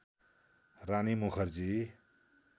Rani Mukherjee